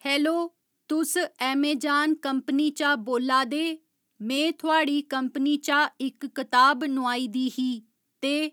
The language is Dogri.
हैलो तुस अमेजान कंपनी चा बोल्ला दे में थुआढ़ी कंपनी चा इक्क कताब नुआई दी ही ते